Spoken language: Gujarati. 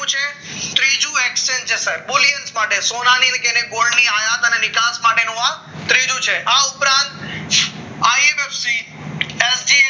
ત્રીજું exchange છે સર બહુ હિલ્સ માટે સોનાની ગોળની આયાત અને નિકાસ માટેનો આ ત્રીજું છે આ ઉપરાંત